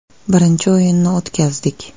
Birinchi o‘yinni o‘tkazdik.